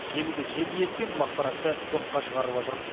желіде желдей ескен бұл ақпаратты жоққа шығарып отыр